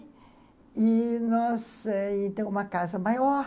E nós temos uma casa maior.